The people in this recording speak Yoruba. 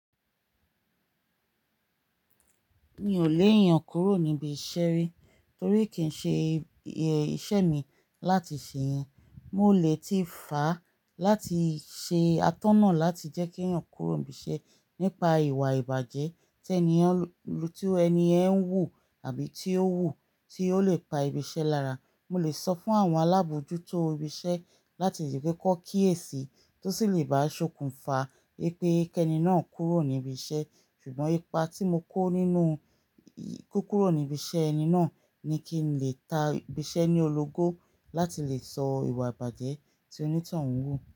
Mi ò lè yan kúrò níbi iṣẹ́ rí, torí kì n ṣe iṣẹ́ mi láti ṣe yẹn. Mo lè tí fàá láti ṣe atọ́nà láti jẹ́ kí yan kúrò ibi iṣẹ́ nípa ìwà ìbàjẹ́ tí ẹni tí ẹni ẹ̀ ń wù àbí tí ó wù, tí ó lè pa ibi iṣẹ́ lára. Mo lè sọ fún àwọn alábòójútó ibi iṣẹ́ láti rí pé kó kí èsì tó sì lè bá a ṣokùnfà wípé kẹ́ni náà kúrò níbi iṣẹ́, ṣùgbọ́n ipa tí mo kó nínú kí ó kúrò níbi iṣẹ́ ẹni náà ni kí n lè ta ibi iṣẹ́ ní ológo láti lè sọ ìwà ìbàjẹ́ tí onítàn ń wù.